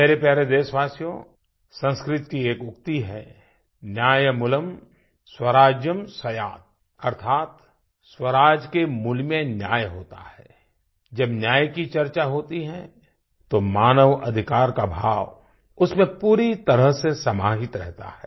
मेरे प्यारे देशवासियो संस्कृत की एक उक्ति है न्यायमूलं स्वराज्यं स्यात् अर्थात् स्वराज के मूल में न्याय होता है जब न्याय की चर्चा होती है तो मानव अधिकार का भाव उसमें पूरी तरह से समाहित रहता है